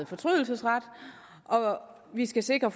fortrydelsesret og vi skal sikre